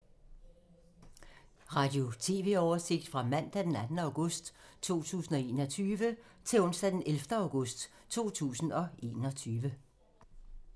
Radio/TV oversigt fra mandag d. 2. august 2021 til onsdag d. 11. august 2021